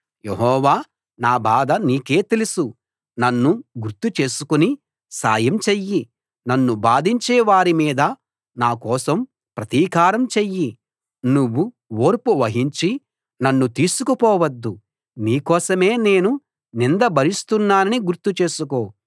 యెహోవా నా బాధ నీకే తెలుసు నన్ను గుర్తు చేసుకుని సాయం చెయ్యి నన్ను బాధించే వారి మీద నా కోసం ప్రతీకారం చెయ్యి నువ్వు ఓర్పు వహించి నన్ను తీసుకుపోవద్దు నీ కోసమే నేను నింద భరిస్తున్నానని గుర్తు చేసుకో